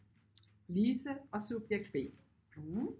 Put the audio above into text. Lise og subjekt B